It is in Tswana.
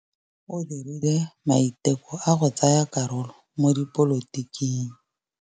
O dirile maitekô a go tsaya karolo mo dipolotiking.